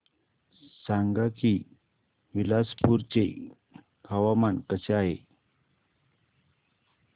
सांगा की बिलासपुर चे हवामान कसे आहे